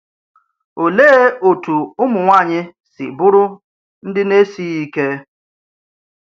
Oleè otú ụmụnwaanyị si bụrụ ndị na-esighị ike?